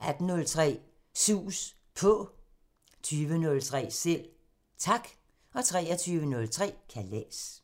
18:03: Sus På 20:03: Selv Tak 23:03: Kalas